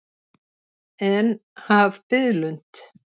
En, haf biðlund.